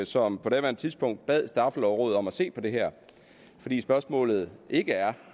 som på daværende tidspunkt bad straffelovrådet om at se på det her fordi spørgsmålet ikke er